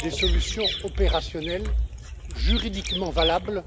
des solutions opérationnelles, juridiquement valables